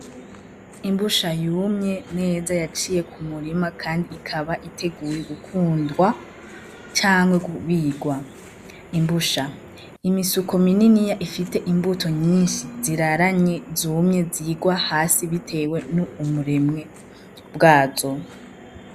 Imbusha yumye neza yaciye kumurima kandi ikaba iteguwe gukundwa canke kubigwa. Imbusha n'imisuko mininiya ifise imbuto nyinshi ziraranye zumye zigwahasi bitewe n'umuremwe bwazo.